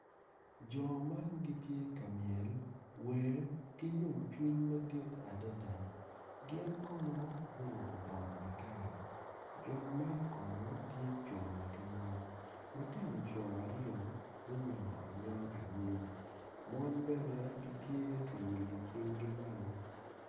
Jo man gitye ka myel, wer ki yomcwiny madit adada gin kono guruko bongo matar jo man kono tye co wa ki mon lutino co aryo gunyongo anyonga anyim mon bene gitye ka ilo cinggi malo.